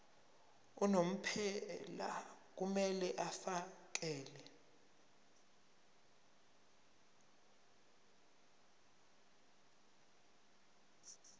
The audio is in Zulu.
unomphela kumele afakele